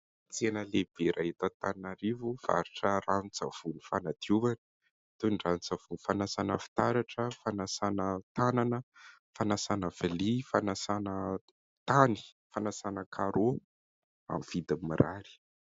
Tsena lehibe iray eto Antananarivo mivarotra ranon-tsavony fanadiovana toy ny ranon-tsavony fanasana fitaratra, fanasana tanana, fanasana vilia, fanasana tany, fanasana "carreaux" amin'ny vidiny mirary.